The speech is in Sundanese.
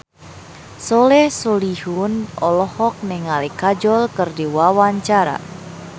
Soleh Solihun olohok ningali Kajol keur diwawancara